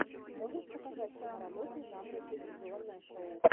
можешь показать киноработу жанра телевизионное шоу